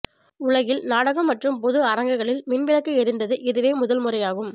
உலகில் நாடகம் மற்றும் பொது அரங்குகளில் மின் விளக்கு எரிந்தது இதுவே முதல் முறையாகும்